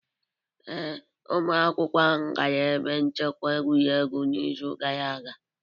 Ee, ụmụ akwụkwọ ahụ gara ebe nchekwa egwuregwu n'izu gara aga